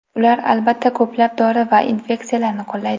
Ular, albatta, ko‘plab dori va inyeksiyalarni qo‘llaydi.